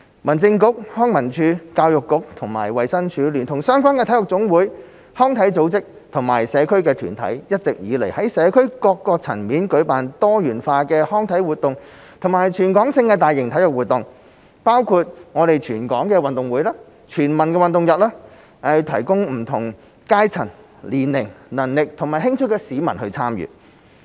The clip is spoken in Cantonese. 民政事務局、康樂及文化事務署、教育局與及衞生署，聯同相關的體育總會、康體組織和社區團體，一直以來在社會各層面舉辦多元化的康體活動及全港性的大型體育活動，包括全港運動會、全民運動日等，供不同階層、年齡、能力和興趣的市民參與。